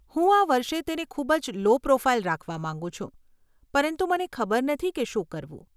હું આ વર્ષે તેને ખૂબ જ લો પ્રોફાઇલ રાખવા માંગું છું, પરંતુ મને ખબર નથી કે શું કરવું.